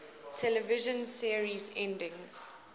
television series endings